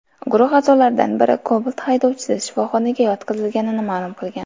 Guruh a’zolaridan biri Cobalt haydovchisi shifoxonaga yotqizilganini ma’lum qilgan.